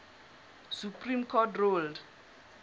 supreme court ruled